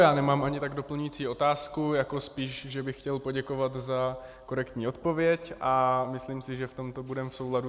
Já nemám ani tak doplňující otázku, jako spíš, že bych chtěl poděkovat za korektní odpověď, a myslím si, že v tomto budeme v souladu.